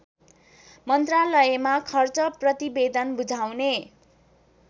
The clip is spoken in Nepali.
मन्त्रालयमा खर्च प्रतिवेदन बुझाउने